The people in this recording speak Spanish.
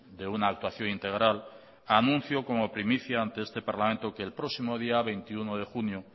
de una actuación integral anuncio como primicia ante este parlamento que el próximo día veintiuno de junio